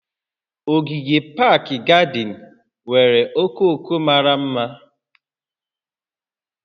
Ogige pak gadịn nwere okooko mara mma